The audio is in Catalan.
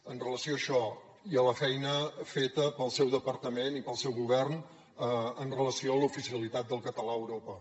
amb relació a això hi ha la feina feta pel seu departament i pel seu govern amb relació a l’oficialitat del català a europa